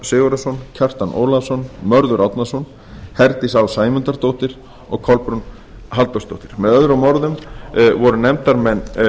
sigurðarson kjartan ólafsson mörður árnason herdís á sæmundardóttir og kolbrún halldórsdóttir með öðrum orðum voru nefndarmenn